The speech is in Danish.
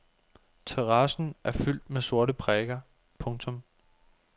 Terrassen er fyldt med sorte prikker. punktum